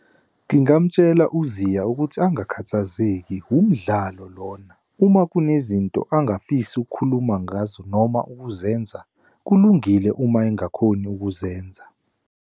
Ngingamutshela u-Zea ukuthi angakhathazeki umdlalo lona. Uma kunezinto angafisi ukukhuluma ngazo noma ukuzenza, kulungile uma engakhoni ukuzenza.